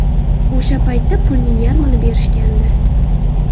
O‘sha paytda pulning yarmini berishgandi.